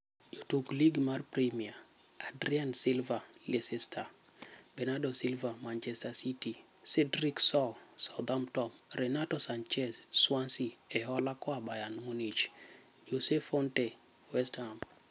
Jotuk Lig mar Premia: Adrien Silva (Leicester), Bernardo Silva (Manchester City), Cedric Soares (Southampton), Renato Sanches (Swansea, e hola koa Bayern Munich), Jose Fonte (West Ham).